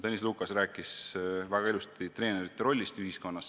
Tõnis Lukas rääkis väga ilusti treenerite rollist ühiskonnas.